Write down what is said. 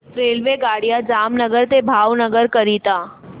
रेल्वेगाड्या जामनगर ते भावनगर करीता